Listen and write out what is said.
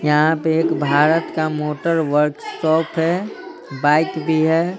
यहां पे एक भारत का मोटर वर्कशॉप है बाइक भी है .